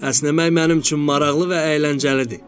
Əsnəmək mənim üçün maraqlı və əyləncəlidir.